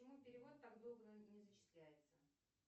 почему перевод так долго не зачисляется